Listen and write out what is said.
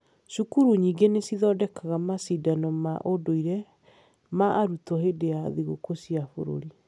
Cukuru nyingĩ nĩ cithondekaga macindano ma ũndũire ma arutwo hĩndĩ ya thigũkũ cia bũrũri.